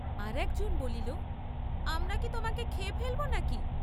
আর একজন বলিল, আমরা কি তোমাকে খেয়ে ফেলব না কি?